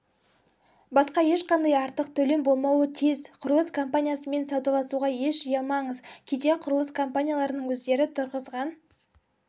басқа ешқандай артық төлем болмауы тиіс құрылыс компаниясымен саудаласуға еш ұялмаңызкейде құрылыс компанияларының өздері тұрғызған